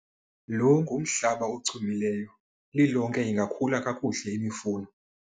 lo ngumhlaba ochumileyo, lilonke ingakhula kakuhle imifuno